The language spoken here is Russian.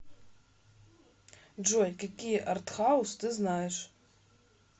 джой какие артхаус ты знаешь